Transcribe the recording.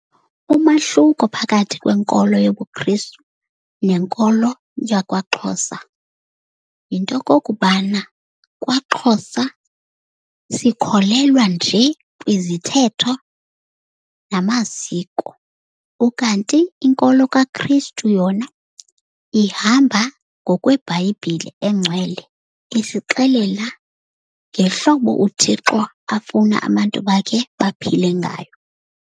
Umahluko phakathi kwenkolo yobuKristu nenkolo yakwaXhosa yinto yokokubana kwaXhosa sikholelwa njee kwizithethe namasiko. Ukanti inkolo kaKristu yona ihamba ngokweBhayibhile engcwele, isixelela ngehlobo uThixo afuna abantu bakhe baphile ngayo.